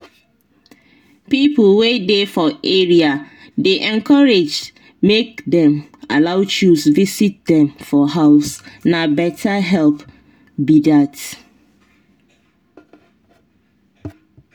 people wey dey for area dey encouraged make dem allow chws visit dem for house na better help be that.